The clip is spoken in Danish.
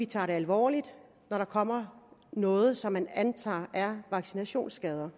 tager det alvorligt når der kommer noget som man antager er vaccinationsskader